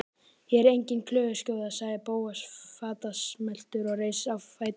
Ég er engin klöguskjóða- sagði Bóas fastmæltur og reis á fætur.